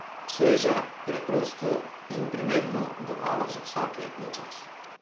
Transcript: Sveže, preprosto in primerno domala za vsak letni čas.